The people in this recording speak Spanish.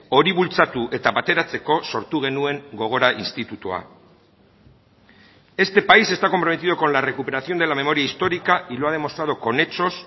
hori bultzatu eta bateratzeko sortu genuen gogora institutua este país está comprometido con la recuperación de la memoria histórica y lo ha demostrado con hechos